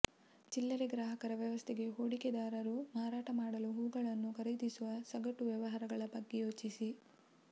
ಚಿಲ್ಲರೆ ಗ್ರಾಹಕರ ವ್ಯವಸ್ಥೆಗೆ ಹೂಡಿಕೆದಾರರು ಮಾರಾಟ ಮಾಡಲು ಹೂವುಗಳನ್ನು ಖರೀದಿಸುವ ಸಗಟು ವ್ಯವಹಾರಗಳ ಬಗ್ಗೆ ಯೋಚಿಸಿ